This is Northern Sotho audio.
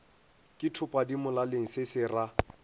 ke thopadimolaleng se se ra